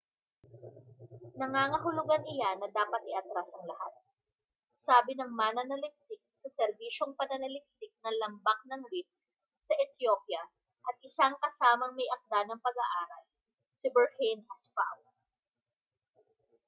nangangahulugan iyan na dapat iatras ang lahat sabi ng mananaliksik sa serbisyong pananaliksik ng lambak ng rift sa ethiopia at isang kasamang may-akda ng pag-aaral si berhane asfaw